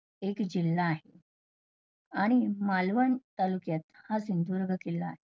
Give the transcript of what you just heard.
एक जिल्हा आहे. आणि मालवण तालुक्यात हा सिंधुदुर्ग किल्ला आहे.